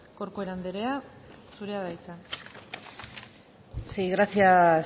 corcuera andrea zurea da hitza sí gracias